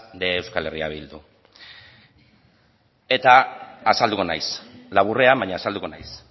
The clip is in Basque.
de eh bildu eta azalduko naiz laburrean baina azalduko naiz